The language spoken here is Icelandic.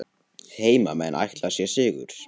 Heimamenn ætla sér sigur